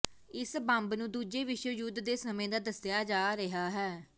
ਇਸ ਬੰਬ ਨੂੰ ਦੂਜੇ ਵਿਸ਼ਵ ਯੁੱਧ ਦੇ ਸਮੇਂ ਦਾ ਦੱਸਿਆ ਜਾ ਰਿਹਾ ਹੈ